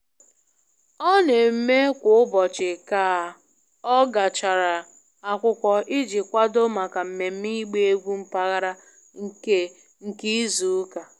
Ọ na-eme kwa ụbọchị ka ọ gachara akwụkwọ iji kwado maka mmemme ịgba egwu mpaghara nke nke izu ụka